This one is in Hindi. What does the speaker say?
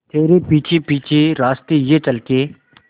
तेरे पीछे पीछे रास्ते ये चल के